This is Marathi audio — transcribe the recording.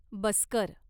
बसकर